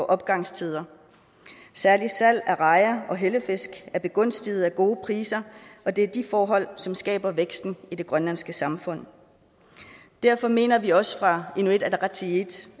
opgangstider særlig salg af rejer og hellefisk er begunstiget af gode priser og det er de forhold som skaber væksten i det grønlandske samfund derfor mener vi også fra inuit ataqatigiits